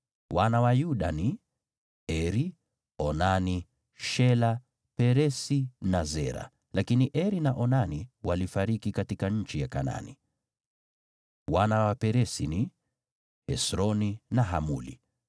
Wana wa Yuda ni: Eri, Onani, Shela, Peresi na Zera (lakini Eri na Onani walifariki katika nchi ya Kanaani). Wana wa Peresi ni: Hesroni na Hamuli.